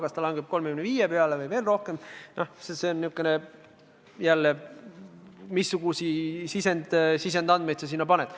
Kas ta langeb 35% peale või veel rohkem, see ei ole kindel, vaid oleneb sellest, missuguseid sisendandmeid sa sinna paned.